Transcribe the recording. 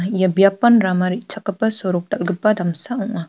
ia biapan rama re·chakgipa sorok dal·gipa damsa ong·a.